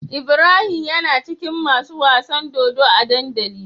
Ibrahim yana cikin masu wasan dodo a dandali